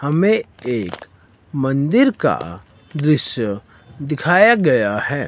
हमें एक मंदिर का दृश्य दिखाया गया है।